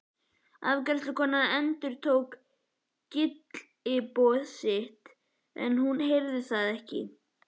Afgreiðslukonan endurtók gylliboð sitt en hún heyrði það ekki.